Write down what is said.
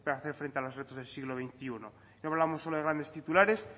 hacer frente a los retos del siglo veintiuno no hablamos solo de grandes titulares